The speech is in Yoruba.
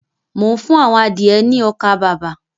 Mò ń fún àwọn adìẹ ní ọkà-bàbà.